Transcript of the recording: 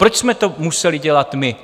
Proč jsme to museli dělat my?